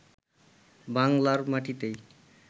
বাংলার মাটিতেই